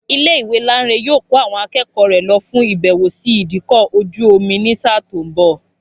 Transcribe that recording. Ilé ìwé Láńre yóò kó àwọn akẹ́kọ̀ọ́ rẹ̀ lọ fún ìbẹ̀wò sí ìdíkọ̀ ọkọ̀ ojú-omi ní sáà tó ń bọ̀